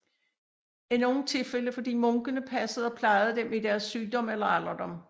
I nogle tilfælde fordi munkene passede og plejede dem i deres sygdom eller alderdom